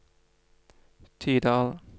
Tydal